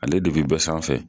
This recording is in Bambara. Ale de be bɛɛ sanfɛ